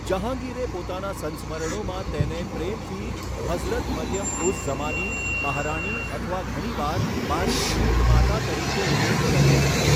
જહાંગીરે પોતાના સંસ્મરણોમાં તેને પ્રેમથી 'હઝરત મરિયમ ઉઝ ઝમાની', 'મહારાણી' અથવા ઘણીવાર 'મારી ઉન્નત માતા' તરીકે ઉલ્લેખ કર્યો હતો.